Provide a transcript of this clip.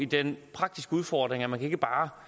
den praktiske udfordring at man ikke bare